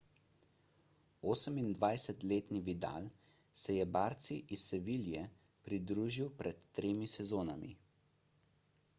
28-letni vidal se je barci iz seville pridružil pred tremi sezonami